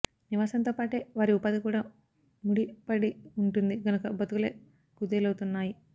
నివాసంతో పాటే వారి ఉపాధి కూడా ముడివడి వుంటుంది గనక బతుకులే కుదేలవుతున్నాయి